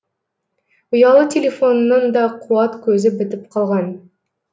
ұялы телефонының да қуат көзі бітіп қалған